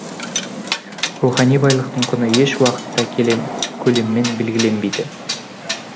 рухани байлықтың құны еш уақытта көлеммен белгіленбейді